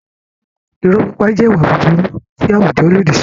Irọ́ pípa jẹ́ ìwà búburú tí àwùjọ lòdì sí.